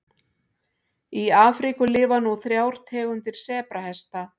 Í Afríku lifa nú þrjár tegundir sebrahesta.